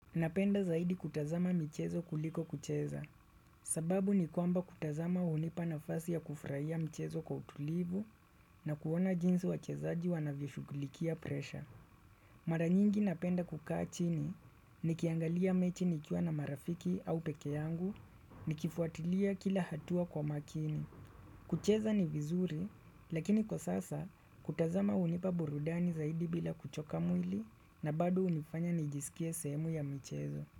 Napenda zaidi kutazama michezo kuliko kucheza sababu ni kwamba kutazama hunipa nafasi ya kufurahia michezo kwa utulivu na kuona jinsi wachezaji wanavyoshugulikia presha Mara nyingi napenda kukaa chini nikiangalia mechi nikiwa na marafiki au peke yangu nikifuatilia kila hatua kwa makini. Kucheza ni vizuri lakini kwa sasa kutazama hunipa burudani zaidi bila kuchoka mwili na bado hunifanya nijiskie sehemu ya michezo.